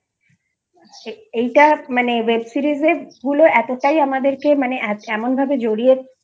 এইটা Web Seriesএর বলে এতটাই আমাদের কে মানে এমনভাবে জড়িয়ে